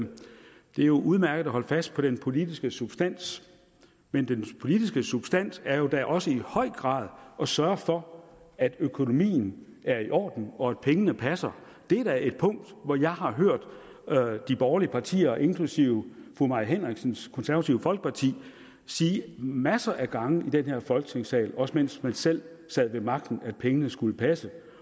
er udmærket at holde fast på den politiske substans men den politiske substans er jo da også i høj grad at sørge for at økonomien er i orden og at pengene passer det er da et punkt hvorom jeg har hørt de borgerlige partier inklusive fru mai henriksens konservative folkeparti sige masser af gange i den her folketingssal også mens man selv sad ved magten at pengene skulle passe